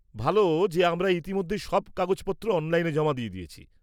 ভাল যে আমরা ইতিমধ্যেই সব কাগজপত্র অনলাইনে জমা দিয়ে দিয়েছি।